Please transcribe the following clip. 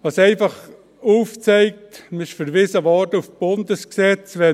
Was es einfach aufzeigt – man wurde auf die Bundesgesetze verwiesen …